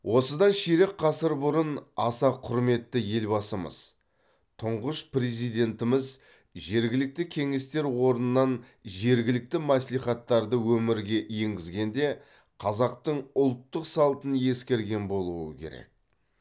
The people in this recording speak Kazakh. осыдан ширек ғасыр бұрын аса құрметті елбасымыз тұңғыш президентіміз жергілікті кеңестер орнынан жергілікті мәслихаттарды өмірге енгізгенде қазақтың ұлттық салтын ескерген болуы керек